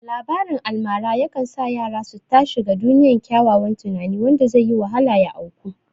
Labarin almara yakan sa yara su ta shiga duniyar ƙyaƙƙyawan tunani wanda zaiyi wahala ya auku